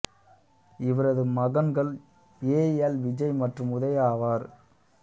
இவரது மகன்கள் A L Vijay மற்றும் உதயா ஆவர்